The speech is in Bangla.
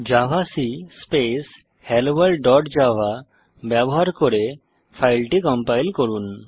javac space hello world dot Java ব্যবহার করে ফাইলটি কম্পাইল করুন